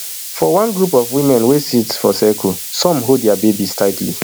for one group of women wey sit for circle some hold dia babies tightly